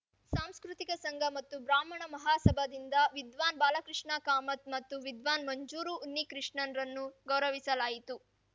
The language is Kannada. ಸಾಂಸ್ಕೃತಿಕ ಸಂಘ ಮತ್ತು ಬ್ರಾಹ್ಮಣ ಮಹಾಸಭಾದಿಂದ ವಿದ್ವಾನ್‌ ಬಾಲಕೃಷ್ಣ ಕಾಮತ್‌ ಮತ್ತು ವಿದ್ವಾನ್‌ ಮಂಜೂರು ಉನ್ನಿಕೃಷ್ಣನ್‌ರನ್ನು ಗೌರವಿಸಲಾಯಿತು